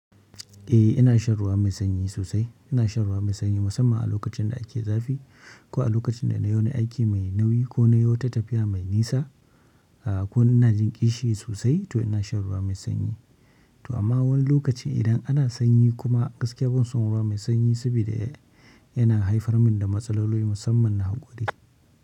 Eh ina shan ruwa mai sanyi sosai. Ina shan ruwa mai sanyi musamman a lokacin da ake zafi, ko a lokacin da na yi wani aiki mai nauyi ko na yi wata tafiya mai nisa, a, ko ina jin ƙishi sosai, to ina shan ruwa mai sanyi. To amma wani lokaci idan ana sanyi kuma, gaskiya ban son ruwa mai sanyi, sabida yana haifar mun da matsaloli musamman, na gode.